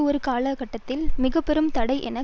ஒரு காலகட்டத்தில் மிக பெரும் தடை என